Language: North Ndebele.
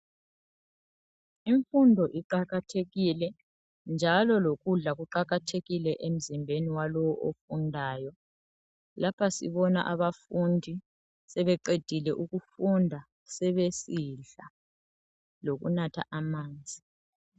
Imfundo iqakathekile njalo lokudla kuqakathekile emzimbeni walowo ofundayo. Lapha sibona abafundi sebeqedile ukufunda sebesidla, lokunatha amanzi.